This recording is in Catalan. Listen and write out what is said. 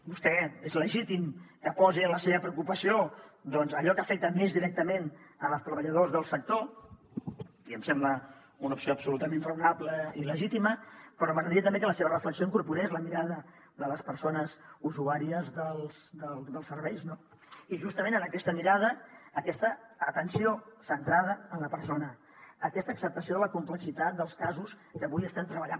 vostè és legítim que posi en la seva preocupació doncs allò que afecta més directament els treballadors del sector i em sembla una opció absolutament raonable i legítima però m’agradaria també que la seva reflexió incorporés la mirada de les persones usuàries dels serveis no i justament en aquesta mirada aquesta atenció centrada en la persona aquesta acceptació de la complexitat dels casos que avui estem treballant